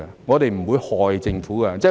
我們不會害政府的。